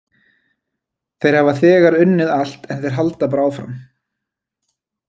Þeir hafa þegar unnið allt en þeir halda bara áfram.